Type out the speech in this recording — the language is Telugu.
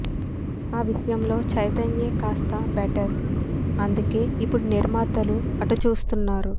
ఆ విషయంలో చైతన్యే కాస్త బెటర్ అందుకే ఇప్పుడు నిర్మాతలు అటు చూస్తున్నారు